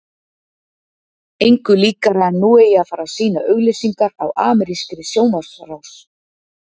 Engu líkara en nú eigi að fara að sýna auglýsingar á amerískri sjónvarpsrás.